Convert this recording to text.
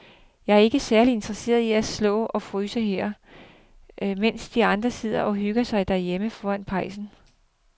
Jeg er ikke særlig interesseret i at stå og fryse her, mens de andre sidder og hygger sig derhjemme foran pejsen.